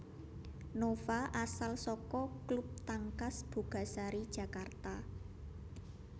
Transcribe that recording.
Nova asal saka klub Tangkas Bogasari Jakarta